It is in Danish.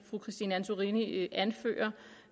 fru christine antorini anfører